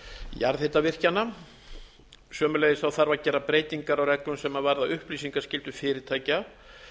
jarðhitavirkjana sömuleiðis þarf að gera breytingar á reglum sem varða upplýsingaskyldu fyrirtækja